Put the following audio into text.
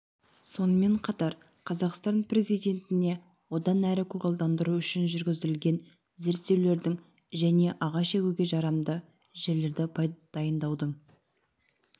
сонымен қатар қазақстан президентіне одан әрі көгалдандыру үшін жүргізілген зерттеулердің және ағаш егуге жарамды жерлерді дайындаудың